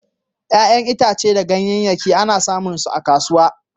ƴa'ƴan itace da ganyayake ana samun su a kasuwa.